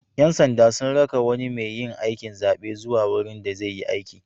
Ƴan sanda sun raka wani mai aikin zaɓe zuwa wurin da zai yi aiki.